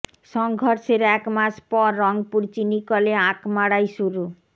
সংঘর্ষের এক মাস পর রংপুর চিনিকলে আখ মাড়াই শুরু